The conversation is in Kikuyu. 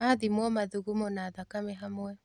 Athimwo mathugumo na thakame hamwe.